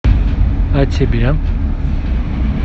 а тебе